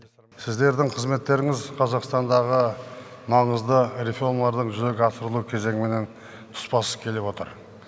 сіздердің қызметтеріңіз қазақстандағы маңызды реформалардың жүзеге асырылу кезеңімен тұспа тұс келіп отыр